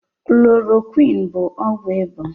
Klorokwiini bụ ọgwụ ịba.